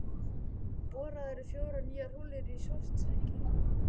Boraðar fjórar nýjar holur í Svartsengi.